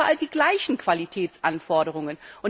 Wir haben doch überall die gleichen Qualitätsanforderungen.